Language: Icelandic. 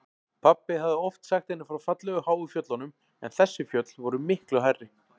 Pabbi hafði oft sagt henni frá fallegu háu fjöllunum en þessi fjöll voru miklu hærri.